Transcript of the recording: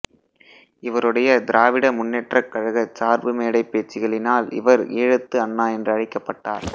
இவருடைய திராவிட முன்னேற்றக் கழக சார்பு மேடைப் பேச்சுக்களினால் இவர் ஈழத்து அண்ணா என்று அழைக்கப்பட்டார்